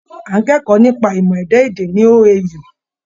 À ń kẹ́kọ̀ọ́ nípa ìmọ̀ ẹ̀dá-èdè ní OAU.